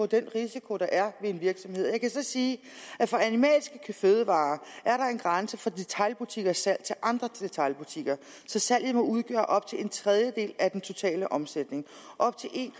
den risiko der er ved en virksomhed jeg kan så sige at for animalske fødevarer er der en grænse for detailbutikkers salg til andre detailbutikker så salget må udgøre op til en tredjedel af den totale omsætning op til en